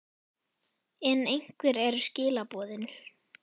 En hver eru skilaboðin?